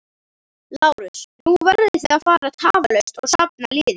LÁRUS: Nú verðið þið að fara tafarlaust og safna liði.